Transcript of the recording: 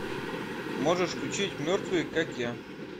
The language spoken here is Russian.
можешь включить мертвые как я